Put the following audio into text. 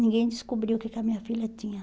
Ninguém descobriu o que que a minha filha tinha.